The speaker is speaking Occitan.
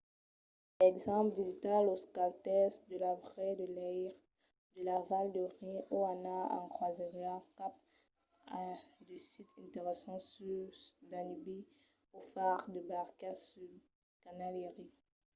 per exemple visitar los castèls de la val de leire de la val de rin o anar en crosièra cap a de sits interessants sus danubi o far de barca sul canal erie